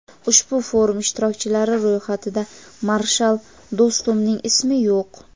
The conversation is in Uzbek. ushbu forum ishtirokchilari ro‘yxatida Marshal Do‘stumning ismi yo‘q.